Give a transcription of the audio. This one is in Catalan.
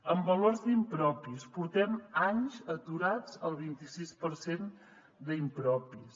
en valors d’impropis portem anys aturats al vint i sis per cent d’impropis